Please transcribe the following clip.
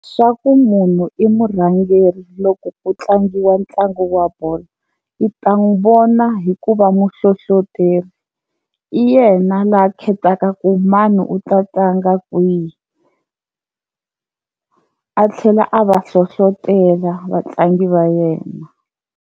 Swa ku munhu i murhangeri loko ku tlangiwa ntlangu wa bolo i ta n'wi vona hi ku va muhlohloteri i yena laha khetaka ku mani u ta tlanga kwihi a tlhela a va hlohlotela vatlangi va yena.